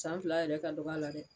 San fila yɛrɛ ka dɔg'a la dɛ